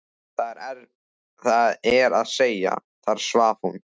Það er að segja: þar svaf hún.